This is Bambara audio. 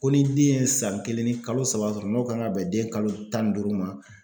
Ko ni den ye san kelen ni kalo saba sɔrɔ n'o kan ka bɛn den kalo tan ni duuru ma